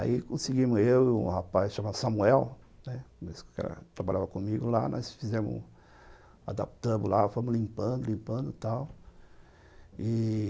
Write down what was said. Aí conseguimos, eu e um rapaz chamado Samuel, né, que trabalhava comigo lá, nós adaptamos lá, fomos limpando, limpando e tal.